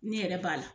Ne yɛrɛ b'a la